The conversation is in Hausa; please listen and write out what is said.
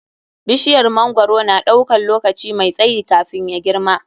Bishiyar mangwaro na ɗaukan lokaci mai tsayi kafin ya girma.